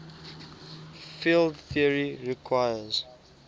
field theory requires